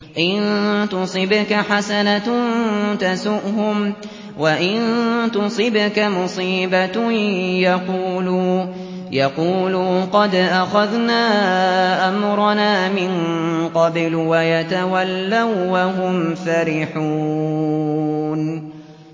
إِن تُصِبْكَ حَسَنَةٌ تَسُؤْهُمْ ۖ وَإِن تُصِبْكَ مُصِيبَةٌ يَقُولُوا قَدْ أَخَذْنَا أَمْرَنَا مِن قَبْلُ وَيَتَوَلَّوا وَّهُمْ فَرِحُونَ